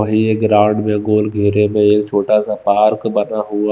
और ये ग्राउंड में गोल घेरे में एक छोटा सा पार्क बना हुआ--